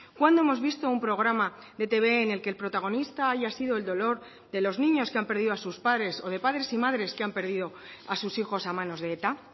cuándo hemos visto un programa de etb en el que el protagonista haya sido el dolor de los niños que han perdido a sus padres o de padres y madres que han perdido a sus hijos a manos de eta